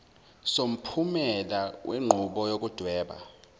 somphumela wenqubo yokudweba